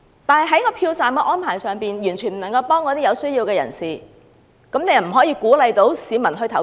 但是，票站安排對有需要人士完全沒有幫助，如何鼓勵市民投票？